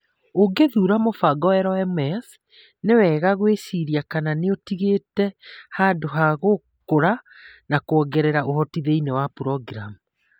Ũgĩthuura mũbango LMS, nĩ wega gwĩciria kana nĩ ũtigĩte handũ ha gũkũra na kwongerera ũhoti thĩinĩ wa programu.